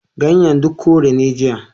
Ganyen duk kore ne jiya.